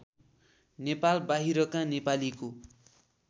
नेपाल बाहिरका नेपालीको